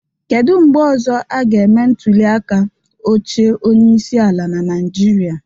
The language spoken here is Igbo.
Kedu mgbe ọzọ a ga-eme ntuliaka oche onyeisi ala na Naịjịrịa?